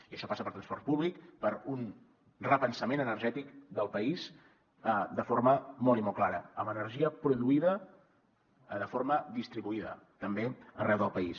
i això passa per transport públic per un repensament energètic del país de forma molt i molt clara amb energia produïda de forma distribuïda també arreu del país